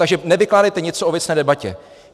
Takže nevykládejte něco o věcné debatě.